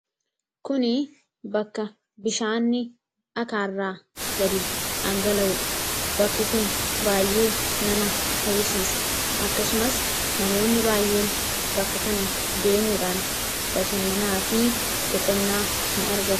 kun bakka bishaanni dhakaarraa gadi dhangala'uudha. bakki kun baay'ee nama hawwisiisa akkasumas namoonni baayyeen bakka kana deemuudhaan bashannanaa fi boqonnaa in argatu.